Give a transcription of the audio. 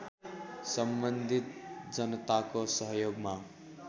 सम्बन्धित जनताको सहयोगमा